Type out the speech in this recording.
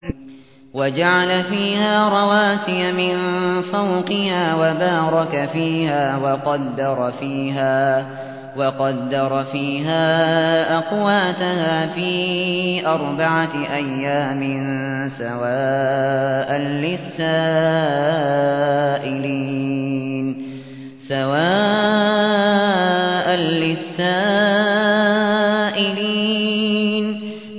وَجَعَلَ فِيهَا رَوَاسِيَ مِن فَوْقِهَا وَبَارَكَ فِيهَا وَقَدَّرَ فِيهَا أَقْوَاتَهَا فِي أَرْبَعَةِ أَيَّامٍ سَوَاءً لِّلسَّائِلِينَ